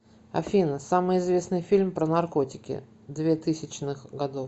афина самый известный фильм про наркотики две тысячных годов